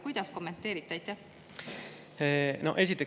Kuidas kommenteerite?